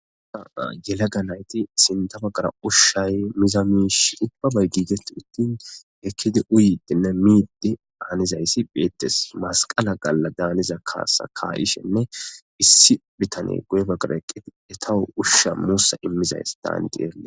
Haa yelaga nayti sindabagara ushshay mizamiish ubbabay giigetti uttin ekkidi uyidenne miidde aanizayssi beettes masqala galla daaniza kaasa kaa7ishenne issi bitane guyba garaeqqeti etawu ushsha muussa immizayss daani diee